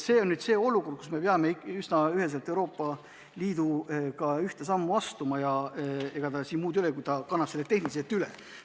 Me peame ikka üsna üheselt Euroopa Liiduga ühte sammu astuma ja ega ei jää muud üle kui kanda see tehniliselt üle.